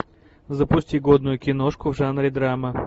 запусти годную киношку в жанре драма